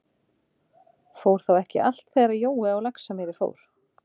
Fór þá ekki alt þegar hann Jói á Laxamýri fór?